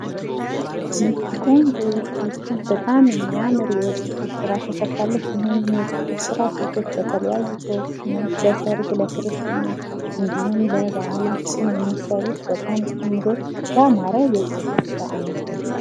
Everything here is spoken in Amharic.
እች ቆንጆ ሴት በጣም የሚያምር ፀጉር ስሬት ተሰርታ ነው የምናያት። ይህንንም የፀጉር ስራ ሴቶች በተለያየ ቀናት ለሰርግ ፣ለክርስትና እንዲሁም ለበአላት የሚሰሩት ያማረ ፣በጣም ቆንጆ የፀጉር ስራ አይነት ነው ።